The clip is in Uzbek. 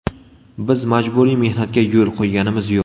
Biz majburiy mehnatga yo‘l qo‘yganimiz yo‘q.